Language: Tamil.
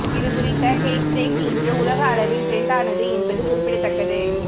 இது குறித்த ஹேஷ்டேக் இன்று உலக அளவில் டிரெண்ட் ஆனது என்பது குறிப்பிடத்தக்கது